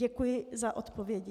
Děkuji za odpovědi.